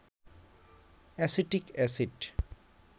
acetic acid